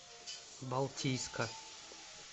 балтийска